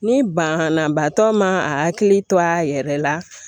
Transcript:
Ni banna batɔ ma akili to a yɛrɛ la